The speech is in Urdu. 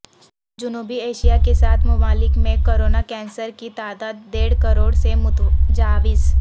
جنوبی ایشیا کے سات ممالک میں کرونا کیسز کی تعداد ڈیڑھ کروڑ سے متجاوز